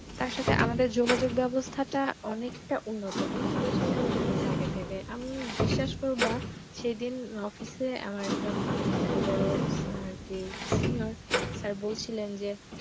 তার সাথে আমাদের যোগাযোগ ব্যবস্থা টা অনেকটা উন্নত অনেক বেশি উন্নত হয়ে গাছে আগের থেকে বিশ্বাস করো বা সেদিন অফিস এ আমার একজন বোরো আরকি সিনিয়র স্যার বলছিলেন যে